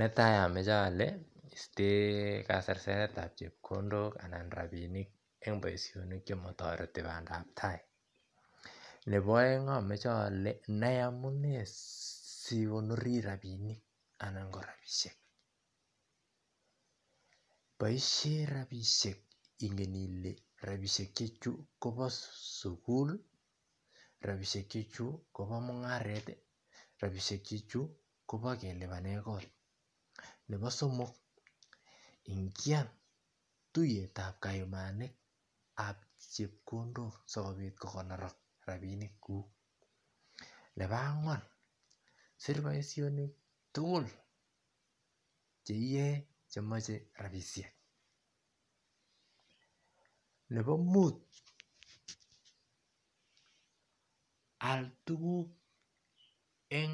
netai amoche ole isten kaserseretab chepkondok anan rapinik en boishonik chemotoreti bandab tai nepo oeng amoche ole nai amune sikonori rapinik anan ko rapishek boishen rapishek ingen ile rapishechu kobo suguli rapishechechu kobo mungareti rapishekchechu kobo kelipanen korik nepo somok ingian tuyetab kayumanik ab chepkondok sikopit kokonorak rapinikkuk nepo angwan sir boishonikuk tugul cheiyoe chemoche rapishek nebo muut aal tuguk en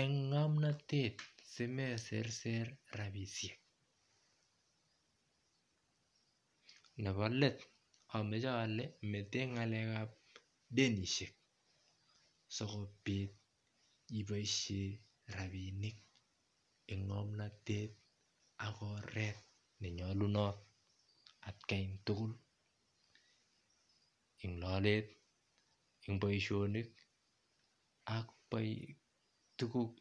en ngomnotet simeserser rapishek nebo let amoche ole meten ngalekap denishek sikopit iboishen rapinik en ngomnotet ak oret nenyolunot atakan tugul en lolet en boishonik ak tuguk tugul